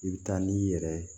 I bɛ taa n'i yɛrɛ ye